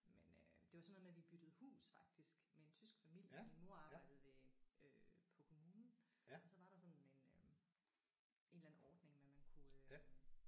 Men øh det var sådan noget med vi byttede hus faktisk med en tysk familie. Min mor arbejdede ved øh på kommunen og så var der sådan en øh en eller anden ordning med man kunne øh